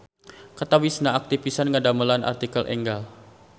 Katawisna aktif pisan ngadamelan artikel enggal.